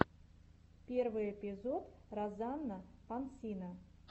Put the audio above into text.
первый эпизод розанна пансино